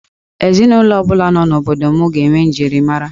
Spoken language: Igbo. Ezinụlọ ọ bụla nọ n'obodo m ga-enwe njirimara